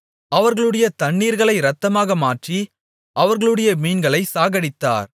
அவர்களுடைய தண்ணீர்களை இரத்தமாக மாற்றி அவர்களுடைய மீன்களை சாகடித்தார்